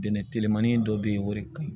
Bɛnɛ telemanin dɔ be yen o de ka ɲi